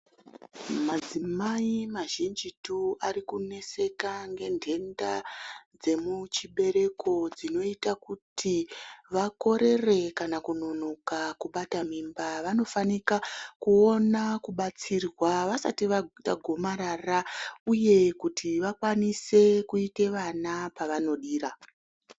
Madzimai mazhinjitu ari kuneseka ngendenda dzemuchibereko, dzinoyita kuti vakorere kana kunonoka kubata mimba, vanofanika kuwona kubatsirwa vasati vayite gomarara uye kuti vakwanise kuyita vana pavanodira.